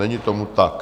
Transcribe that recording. Není tomu tak.